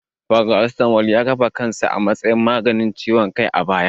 Paracetamol ya kafa kansa a matsayin maganin ciwon kai a baya.